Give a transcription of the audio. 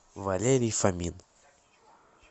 валерий фомин